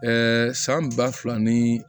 san ba fila ni